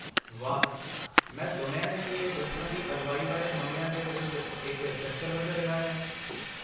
ਵਾਹ। ਮੈਂ ਸੁਣਿਆ ਹੈ ਕਿ ਇਹ ਦੁਸ਼ਮਣ ਦੀ ਅਗਵਾਈ ਵਾਲੇ ਹਮਲਿਆਂ ਦੇ ਵਿਰੁੱਧ ਇੱਕ ਸ਼ਸਤਰ ਵਜੋਂ ਰਿਹਾ ਹੈ।